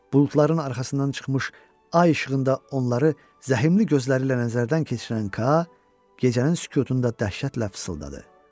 Buludların arxasından çıxmış ay işığında onları zəhmli gözləri ilə nəzərdən keçirən Kaa, gecənin sükutunda dəhşətlə pıçıldadı: